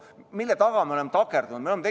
Mille taha me oleme takerdunud?